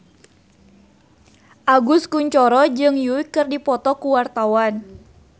Agus Kuncoro jeung Yui keur dipoto ku wartawan